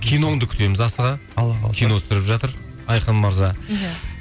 киноңды күтеміз асыға алла қаласа кино түсіріп жатыр айқын мырза иә